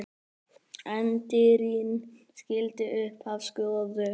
Endirinn skyldi í upphafi skoða.